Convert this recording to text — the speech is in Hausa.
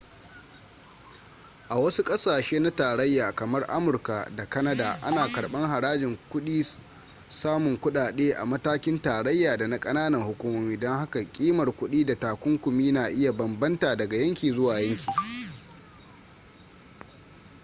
a wasu ƙasashe na tarayya kamar amurka da kanada ana karɓar harajin samun kuɗaɗe a matakin tarayya da na ƙananan hukumomi don haka ƙimar kuɗi da takunkumi na iya bambanta daga yanki zuwa yanki